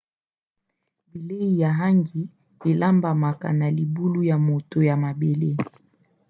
bilei ya hangi elambamaka na libulu ya moto na mabele